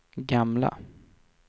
gamla